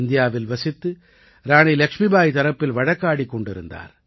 இந்தியாவில் வசித்து ராணி லக்ஷ்மிபாய் தரப்பில் வழக்காடிக் கொண்டிருந்தார்